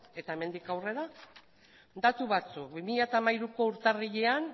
eta hemendik aurrera datu batzuk bi mila hamairuko urtarrilean